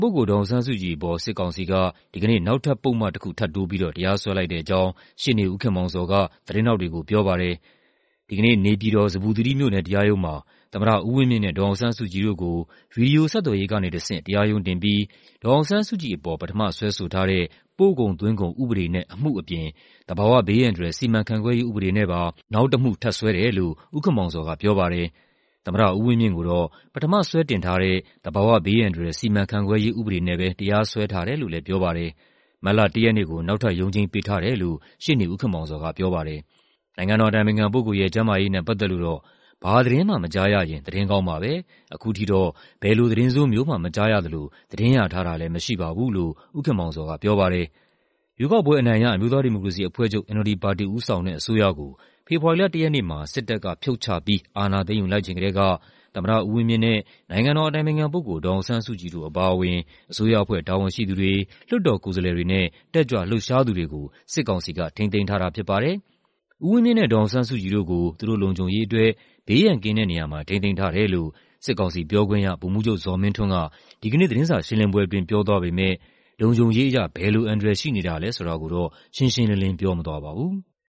ပုဂ္ဂိုလ် ဒေါ်အောင်ဆန်းစုကြည်အပေါ် စစ်ကောင်စီက ဒီကနေ့ နောက်ထပ်ပုဒ်မ တစ်ခုထပ်တိုးပြီးတော့ တရားစွဲလိုက်တဲ့အကြောင်း ရှေ့နေ ဦးခင်မောင်ဇော်က သတင်းထောက်တွေကို ပြောပါတယ်။ ဒီကနေ့ နေပြည်တော်၊ ဇမ္ဗူသီရိမြို့နယ် တရားရုံးမှာ သမ္မတဦးဝင်းမြင့်နဲ့ ဒေါ်အောင်ဆန်းစုကြည်တို့ကို ဗွီဒီယိုဆက်သွယ်ရေးကနေတဆင့် တရားရုံးတင်ပြီး ဒေါ်အောင်ဆန်းစုကြည်ကို ပထမစွဲဆိုထားတဲ့ ပို့ကုန်သွင်းကုန်ဥပဒေနဲ့ အမှုအပြင် သဘာဝဘေးအန္တရာယ်စီမံခန့်ခွဲရေးဥပဒေနဲ့ပါ နောက်တမှု ထပ်စွဲတယ်လို့ ဦးခင်မောင်ဇော်ကပြောပါတယ်။ သမ္မတဦးဝင်းမြင့်ကိုတော့ ပထမစွဲတင်ထားတဲ့ သဘာဝဘေးအန္တရာယ်စီမံခန့်ခွဲရေး ဥပဒေနဲ့ပဲ တရားစွဲထားတယ်လို့လည်း ပြောပါတယ်။ မတ်လ ၁ ရက်နေ့ကို နောက်ထပ်ရုံးချိန်းပေးထားတယ်လို့ ရှေ့နေဦးခင်မောင်ဇော်ကပြောပါတယ်။ နိုင်ငံတော်အတိုင်ပင်ခံပုဂ္ဂိုလ်ရဲ့ ကျန်းမာရေးနဲ့ပတ်သက်လို့တော့ "ဘာသတင်းမှ မကြားရရင် သတင်းကောင်းပါပဲ၊ အခုထိတော့ ဘယ်လိုသတင်းဆိုးမျိုးမှ မကြားရသလို ရထားတာလည်းမရှိပါဘူး။" လို့ ဦးခင်မောင်ဇော်ကပြောပါတယ်။ ရွေးကောက်ပွဲအနိုင်ရ အမျိုးသားဒီမိုကရေစီအဖွဲ့ချုပ် ပါတီဦးဆောင်တဲ့ အစိုးရကို ဖေဖော်ဝါရီလ ၁ ရက်နေ့မှာ စစ်တပ်ကဖြုတ်ချပြီး အာဏာသိမ်းယူလိုက်ချိန်ကတည်းက သမ္မတဦးဝင်းမြင့်နဲ့ နိုင်ငံတော်အတိုင်ပင်ခံပုဂ္ဂိလ် ဒေါ်အောင်ဆန်းစုကြည်တို့ အပါအဝင်၊ အစိုးရအဖွဲ့တာဝန်ရှိသူတွေ၊ လွှတ်တော်ကိုယ်စားလှယ်တွေနဲ့ တက်ကြွလှုပ်ရှားသူတွေကို စစ်ကောင်စီက ထိန်းသိမ်းထားတာဖြစ်ပါတယ်။ ဦးဝင်းမြင့်နဲ့ ဒေါ်အောင်ဆန်းစုကြည်တို့ကို သူတို့လုံခြုံရေးအတွက် ဘေးရန်ကင်းတဲ့နေရာမှာ ထိန်းသိမ်းထားတယ်လို့ စစ်ကောင်စီပြောခွင့်ရ ဗိုလ်မှူးချုပ်ဇော်မင်းထွန်းက ဒီကနေ့ သတင်းစာရှင်းလင်းပွဲအတွင်း ပြောသွားပေမဲ့ လုံခြုံရေးအရ ဘယ်လိုအန္တရာယ်ရှိနေတာလည်းဆိုတာကိုတော့ ရှင်းရှင်းလင်းလင်း ပြောမသွားပါဘူး။